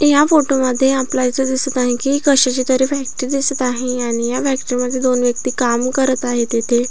या फोटो मध्ये आपल्याला इथ दिसत आहे कि कशाची तरी फॅक्टरी दिसत आहे आणि या फॅक्टरी मध्ये दोन व्यक्ती काम करत आहेत येथे.